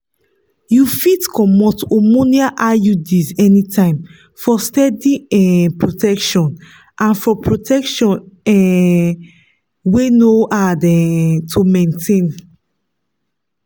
you fit comot hormonal iuds anytime for steady um protection and for protection um wey no hard um to maintain.